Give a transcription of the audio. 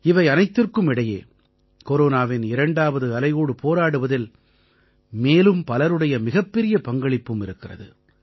இவை அனைத்திற்கும் இடையே கொரோனாவின் இரண்டாவது அலையோடு போராடுவதில் மேலும் பலருடைய மிகப்பெரிய பங்களிப்பும் இருக்கிறது